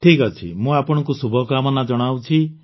ଠିକ୍ ଅଛି ମୁଁ ଆପଣଙ୍କୁ ଶୁଭକାମନା ଜଣାଉଛି